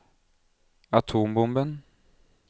atombomben